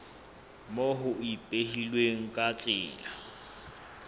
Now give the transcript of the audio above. moo ho ipehilweng ka tsela